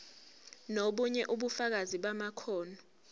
nobunye ubufakazi bamakhono